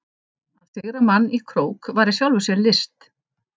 Að sigra mann í krók var í sjálfu sér list.